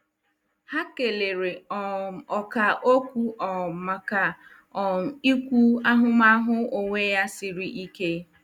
Ha kelere um ọkà okwu um maka um ikwu ahụmahụ onwe ya siri ike.